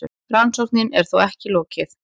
Rannsókn er þó ekki lokið.